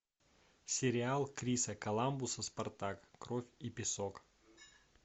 сериал криса коламбуса спартак кровь и песок